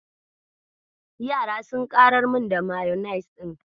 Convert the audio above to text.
Yara sun ƙarar min da mayanis ɗin.